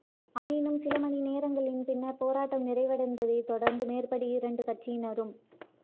ஆயினும் சில மணி நேரங்களின் பின்னர் போராட்டம் நிறைவடைந்ததைத் தொடர்ந்து மேற்படி இரண்டு கட்சியினரும்